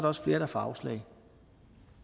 også flere der får afslag